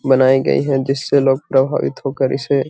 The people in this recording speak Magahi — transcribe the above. बनाई गई है जिससे लोग प्रभावित हो कर इसे --